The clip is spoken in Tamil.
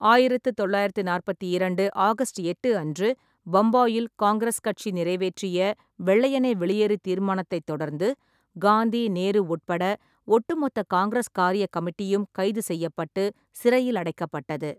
ஆயிரத்து தொள்ளாயிரத்து நாற்பத்திரண்டு ஆகஸ்ட் எட்டு அன்று பம்பாயில் காங்கிரஸ் கட்சி நிறைவேற்றிய வெள்ளையனே வெளியேறு தீர்மானத்தைத் தொடர்ந்து, காந்தி, நேரு உட்பட ஒட்டுமொத்த காங்கிரஸ் காரியக் கமிட்டியும் கைது செய்யப்பட்டு சிறையில் அடைக்கப்பட்டது.